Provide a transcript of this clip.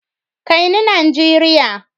Kai ni Nigeria!